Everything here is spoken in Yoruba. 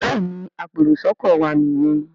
Béèni apẹ èrò sóko wá ní yén.